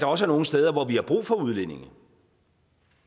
også nogle steder hvor vi har brug for udlændinge